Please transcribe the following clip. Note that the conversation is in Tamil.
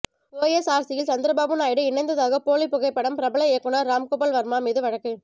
ஒய்எஸ்ஆர்சியில் சந்திரபாபு நாயுடு இணைந்ததாக போலி புகைப்படம் பிரபல இயக்குனர் ராம்கோபால் வர்மா மீது வழக்கு